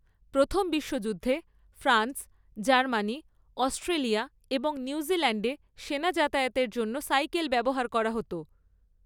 প্রথম বিশ্বযুদ্ধে France, Germany, Australia এবং নিউজিল্যাণ্ডে সেনা যাতায়াতের জন্য সাইকেল ব্যবহার করা হত।